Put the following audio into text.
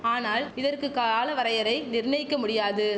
ஆனால் இதற்கு கால வரையறை நிர்ணயிக்க முடியாது